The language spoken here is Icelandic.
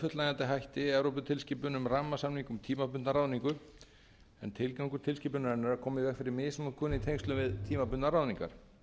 fullnægjandi hætti evróputilskipun um rammasamning um tímabundna ráðningu en tilgangur tilskipunarinnar er að koma í veg fyrir misnotkun í tengslum við tímabundnar ráðningar þannig er mál